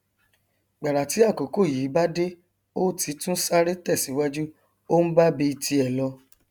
gbàrà tí àkókò yìí bá dé ó ti tún sáré tẹ síwájú ó nbábi tiẹ lọ